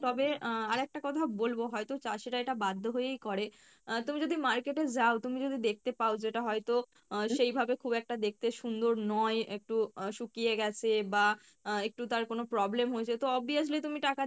তবে আহ আর একটা কথা বলবো হয়তো চাষীরা এটা বাধ্য হয়েই করে আহ তুমি যদি market এ যাও তুমি যদি দেখতে পাও যেটা হয়তো আহ সেইভাবে খুব একটা দেখতে সুন্দর নয় একটু আহ শুকিয়ে গেছে বা আহ একটু তার কোনো problem হয়েছে তো obviously তুমি টাকা দিয়ে যখন